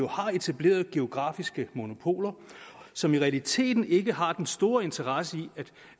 har etableret geografiske monopoler som i realiteten ikke har den store interesse i at